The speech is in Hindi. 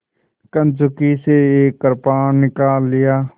कंचुकी से एक कृपाण निकाल लिया